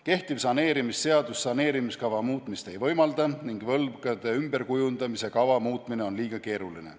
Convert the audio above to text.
Kehtiv saneerimisseadus saneerimiskava muutmist ei võimalda ning võlgade ümberkujundamise kava muutmine on liiga keeruline.